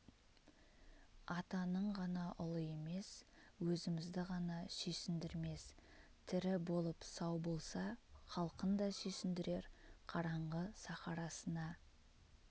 атаның ғана ұлы емес өзімізді ғана сүйсіндірмес тірі болып сау болса халқын да сүйсіндірер қараңғы сахарасына